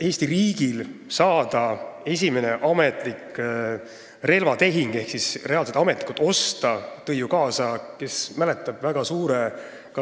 Eesti riigi esimene ametlik relvatehing ehk reaalne ost tõi ju kaasa, kes mäletab, väga suure